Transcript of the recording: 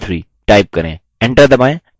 enter दबाएँ